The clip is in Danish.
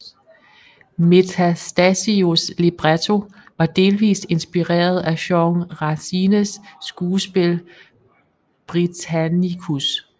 Metastasios libretto var delvist inspireret af Jean Racines skuespil Britannicus